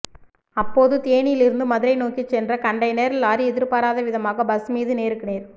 அப்போது தேனியில் இருந்து மதுரை நோக்கி சென்ற கன்டெய்னர் லாரி எதிர்பாராத விதமாக பஸ் மீது நேருக்கு நேர்